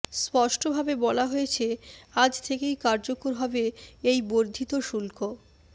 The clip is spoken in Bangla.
স্পষ্টভাবে বলা হয়েছে আজ থেকেই কার্যকর হবে এই বর্ধিত শুল্ক